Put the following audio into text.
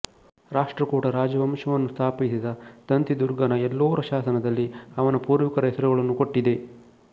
ರಾಷ್ಟ್ರಕೂಟ ರಾಜವಂಶವನ್ನು ಸ್ಥಾಪಿಸಿದ ದಂತಿದುರ್ಗನ ಎಲ್ಲೋರ ಶಾಸನದಲ್ಲಿ ಅವನ ಪೂರ್ವಿಕರ ಹೆಸರುಗಳನ್ನು ಕೊಟ್ಟಿದೆ